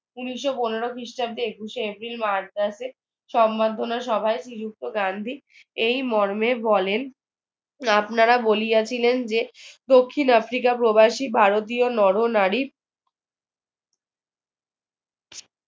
ঊনিশো পনেরো খ্রিস্টাব্দে একুশে April মাদ্রাজে সমন্ধনা সভায় শ্রীযুক্ত গান্ধী এই মর্মে বলেন আপনারা বলিয়াছিলেন যে দক্ষিণ আফ্রিকা প্রবাসী ভারতীয় নর নারী